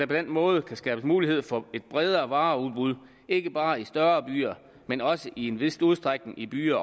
den måde kan skabes mulighed for et bredere vareudbud ikke bare i større byer men også i en vis udstrækning i byer